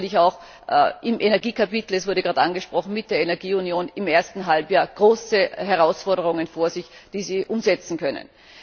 Sie haben sicherlich auch im Energiekapitel es wurde gerade angesprochen mit der Energieunion im ersten Halbjahr große Herausforderungen vor sich, die sie umsetzen können.